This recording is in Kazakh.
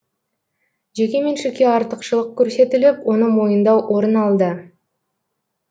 жеке меншікке артықшылық көрсетіліп оны мойындау орын алды